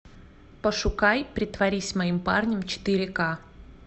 пошукай притворись моим парнем четыре к